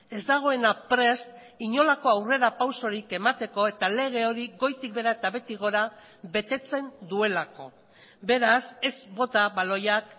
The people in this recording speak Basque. ez dagoena prest inolako aurrerapausorik emateko eta lege hori goitik behera eta behetik gora betetzen duelako beraz ez bota baloiak